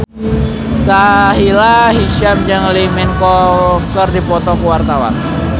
Sahila Hisyam jeung Lee Min Ho keur dipoto ku wartawan